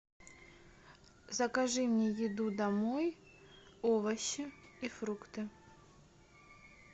закажи мне еду домой овощи и фрукты